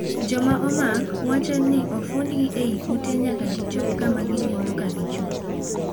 Jomaomak wachoni ofundgi ei ute nyaka gichopo kama ginindo ka gichung'.